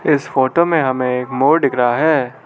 इस फोटो में हमें एक मोर दिख रहा है।